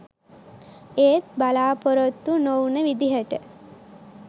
ඒත් බලාපොරොත්තු නොවුන විදිහට